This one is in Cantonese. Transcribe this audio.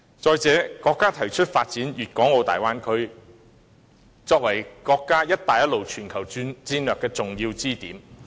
再者，國家提出發展粵港澳大灣區，作為國家"一帶一路"全球戰略的重要支點。